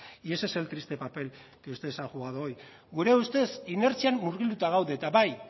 y ese es el triste papel que ustedes han jugado hoy gure ustez inertzian murgilduta gaude eta bai